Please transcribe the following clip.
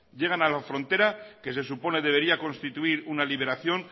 llegan a la frontera que se supone debería constituir una liberación